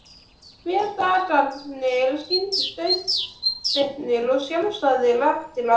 Hve dagarnir sýndust auðsveipir og sjálfsagðir eftir á!